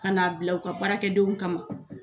Kana bila u ka baarakɛdenw kama.